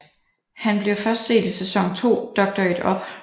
Han bliver først set i sæson 2 Doctor It Up